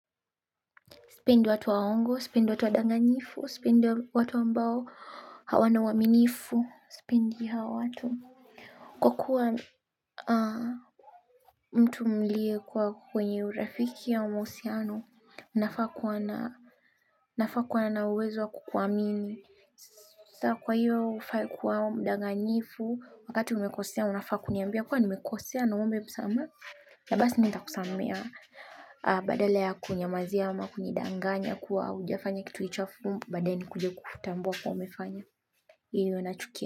Sipendi watu waongo, sipendi watu wa danganyifu, sipendi watu ambao hawana uwaminifu, sipendi hao watu. Kwa kuwa mtu mlie kuwa kwenye urafiki ama uhusiano, nafaa kuwa na uwezo wa kukuamini. Sasa kwa hiyo hufai kuwa mdanganyifu, wakati umekosea, unafaa kuniambia kuwa umenikosea na uombe msamaha. Na basi nita kusamehea badala ya kuninyamazia ama, kunyidanganya, kuwa haujafanya kitu hicho alafu, baadae ni kuja kukutambua kuwa umefanya, hiyo nachukia.